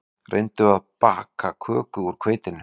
Reyndu þá að baka köku úr hveitinu